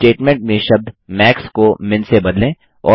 अब स्टेटमेंट में शब्द मैक्स को मिन से बदलें